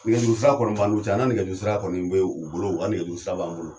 Nɛgɛjuru sira kɔni b'an n'u cɛ an na nɛgɛjuru sira kɔni be u bolo ula nɛgɛ juru sira b'an bolo